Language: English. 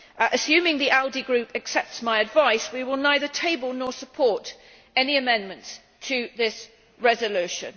Assuming the ALDE Group accepts my advice, we will neither table nor support any amendments to this resolution.